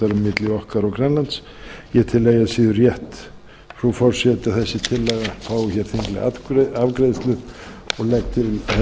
milli okkar og grænlands ég tel eigi að síður rétt frú forseti að þessi tillaga fái hér þinglega afgreiðslu og